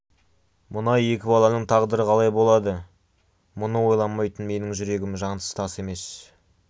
мына екі баланың тағдыры қалай болады мұны ойламайтын менің жүрегім жансыз тас емес